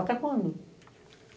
Até quando?